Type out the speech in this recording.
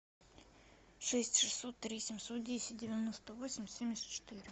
шесть шестьсот три семьсот десять девяносто восемь семьдесят четыре